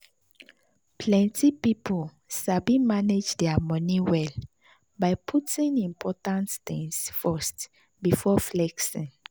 plenty people sabi manage their money well by putting important things first before flexing.